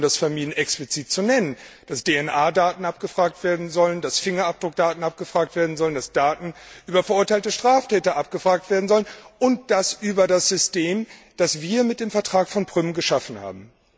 Die Kollegen haben es vermieden, das explizit zu nennen dass DNA Daten abgefragt werden sollen, dass Fingerabdruckdaten abgefragt werden sollen, dass Daten über verurteilte Straftäter abgefragt werden sollen, und zwar über das System, das wir mit dem Vertrag von Prüm geschaffen haben.